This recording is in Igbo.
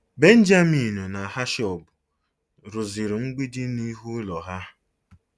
Benjaminu na Hashọb rụziri mgbidi n'ihu ụlọ ha.